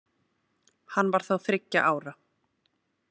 Hann var þá þriggja ára